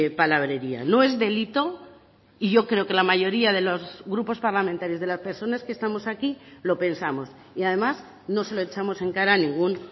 palabrería no es delito y yo creo que la mayoría de los grupos parlamentarios de las personas que estamos aquí lo pensamos y además no se lo echamos en cara a ningún